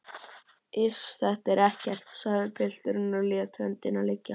Iss, þetta er ekkert, sagði pilturinn og lét höndina liggja.